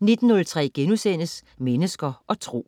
19.03 Mennesker og Tro*